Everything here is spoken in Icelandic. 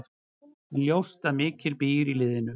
En ljóst að mikið býr í liðinu.